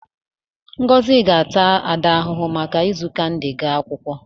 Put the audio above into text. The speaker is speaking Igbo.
Ngozi ga-ata Ada ahụhụ maka izu kandi wee gaa akwụkwọ.